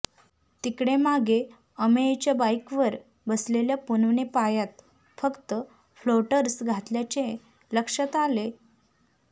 तिकडे मागे अमेयच्या बाईकवर बसलेल्या पूनमने पायात फ़क्त फ्लोटर्स घातल्याचे लक्ष्यात आले